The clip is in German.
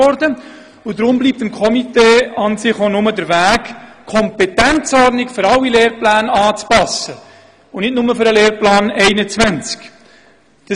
Deshalb bleibt dem Komitee an sich auch einzig der Weg, die Kompetenzordnung für alle Lehrpläne anzupassen, und nicht nur für den Lehrplan 21.